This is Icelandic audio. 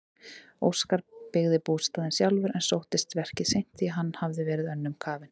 Óskar byggði bústaðinn sjálfur en sóttist verkið seint því hann hafði verið önnum kafinn.